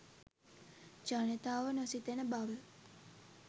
ජනතාව නොසිතන බව